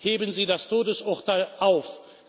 Heben Sie das Todesurteil auf!